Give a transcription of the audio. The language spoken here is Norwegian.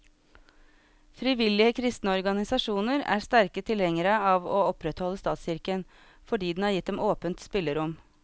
Frivillige kristne organisasjoner er sterke tilhengere av å opprettholde statskirken, fordi den har gitt dem åpent spillerom.